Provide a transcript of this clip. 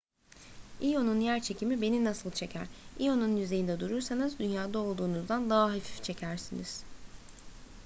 io'nun yerçekimi beni nasıl çeker io'nun yüzeyinde durursanız dünya'da olduğunuzdan daha hafif çekersiniz